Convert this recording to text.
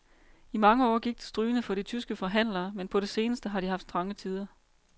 I mange år gik det strygende for de tyske forhandlere, men på det seneste har de haft trange tider.